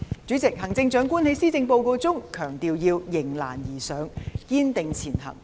主席，行政長官在施政報告中強調要迎難而上，堅定前行。